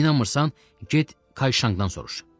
İnanmırsan, get Kayşangdan soruş.